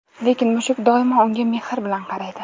Lekin mushuk doimo unga mehr bilan qaraydi.